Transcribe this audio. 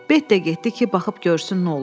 Beyt də getdi ki, baxıb görsün nə olub.